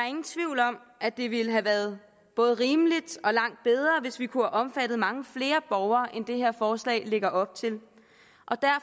ingen tvivl om at det ville have været både rimeligt og langt bedre hvis vi kunne have omfattet mange flere borgere end det her forslag lægger op til